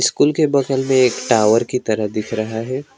School के बगल में एक टावर की तरह दिख रहा है।